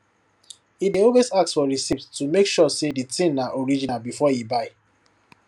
e dey always ask for receipt to make sure say the thing na original before e buy